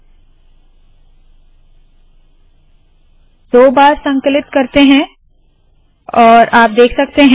मैं दो बार संकलन करती हूँ और आप देख सकते है